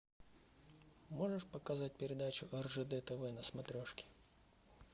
можешь показать передачу ржд тв на смотрешке